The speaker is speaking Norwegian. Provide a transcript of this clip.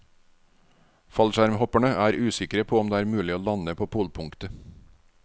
Fallskjermhopperne er usikre på om det er mulig å lande på polpunktet.